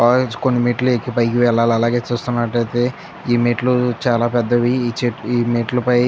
కొన్ని మెట్లు పైకి ఎక్కి వెళ్లాలి.అలాగే చూస్తున్నట్లయితే ఈ మెట్లు చాలా పెద్దవి. ఈ చే మెట్లుపై --